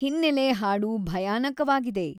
ಹಿನ್ನೆಲೆ ಹಾಡು ಭಯಾನಕವಾಗಿದೆ